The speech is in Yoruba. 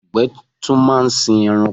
Àgbẹ̀ tún máa ń sin ẹranko.